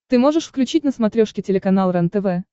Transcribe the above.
ты можешь включить на смотрешке телеканал рентв